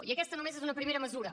i aquesta només és una primera mesura